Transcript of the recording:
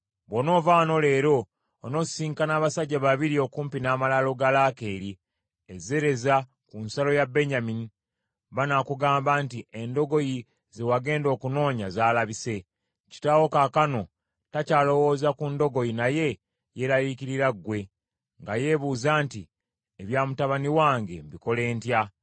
Bw’onoova wano leero, onoosisinkana abasajja babiri okumpi n’amalaalo ga Laakeeri, e Zereza ku nsalo ya Benyamini, banaakugamba nti, ‘Endogoyi ze wagenda okunoonya zaalabise. Kitaawo kaakano takyalowooza ku ndogoyi, naye, yeeraliikirira ggwe, nga yeebuuza nti, “Ebya mutabani wange mbikole ntya?” ’